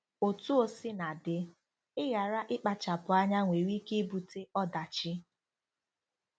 Otú o sina dị, ịghara ịkpachapụ anya nwèrè ike ibute ọdachi.